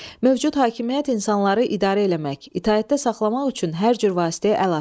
Mövcud hakimiyyət insanları idarə eləmək, itaətdə saxlamaq üçün hər cür vasitəyə əl atır.